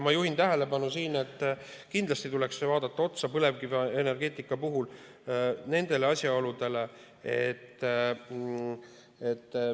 Ma juhin tähelepanu, et kindlasti tuleks vaadata põlevkivienergeetika puhul neid asjaolusid.